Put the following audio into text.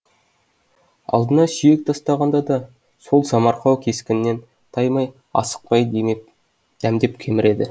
алдына сүйек тастағанда да сол самарқау кескінінен таймай асықпай дәмдеп кеміреді